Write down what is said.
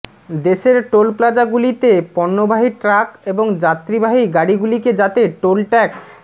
দেশের টোল প্লাজাগুলিতে পণ্যবাহী ট্রাক এবং যাত্রিবাহী গাড়িগুলিকে যাতে টোল ট্যাক্স